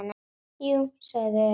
Jú, sögðum við örar.